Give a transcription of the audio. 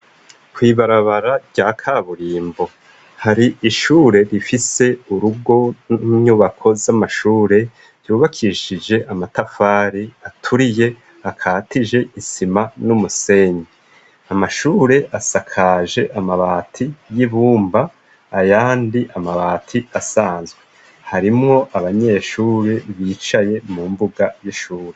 Kwibarabara rya kaburimbo, hari ishure rifise urugo ninyubako z'amashure vyubakishije amatafari aturiye akatije isima n'umusenyi, amashure asakaje amabati y'ibumba ayandi amabati asanzwe, harimo abanyeshuri bicaye mu mbuga y'ishure.